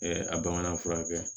a bamanan fura kɛ